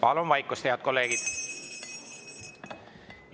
Palun vaikust, head kolleegid!